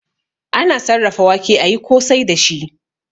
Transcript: Ana sarrafa wake ayi kosai dashi